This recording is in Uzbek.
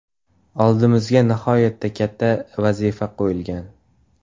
Oldimizga nihoyatda katta vazifa qo‘yilgan.